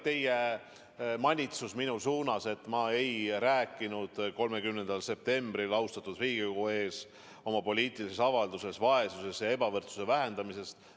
Te manitsesite mind, et ma ei rääkinud 30. septembril austatud Riigikogu ees oma poliitilises avalduses vaesuse ja ebavõrdsuse vähendamisest.